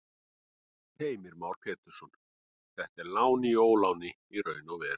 Heimir Már Pétursson: Þetta er lán í óláni í raun og veru?